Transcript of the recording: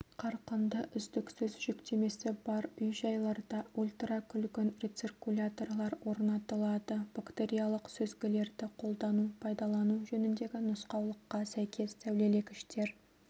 қарқынды үздіксіз жүктемесі бар үй-жайларда ультракүлгін рециркуляторлар орнатылады бактериялық сүзгілерді қолдану пайдалану жөніндегі нұсқаулыққа сәйкес сәулелегіштер